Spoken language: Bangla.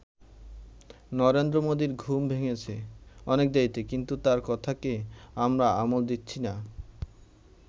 নরেন্দ্র মোদীর ঘুম ভেঙেছে অনেক দেরিতে, কিন্ত তার কথাকে আমরা আমল দিচ্ছি না।